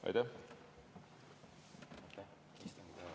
Aitäh!